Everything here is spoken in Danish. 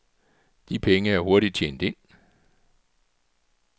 De penge er hurtigt tjent ind.